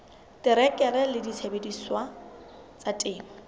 terekere le disebediswa tsa temo